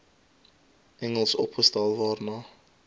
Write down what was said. engels opgestel waarna